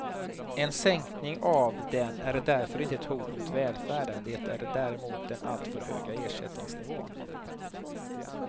En sänkning av den är därför inte ett hot mot välfärden, det är däremot den alltför höga ersättningsnivån.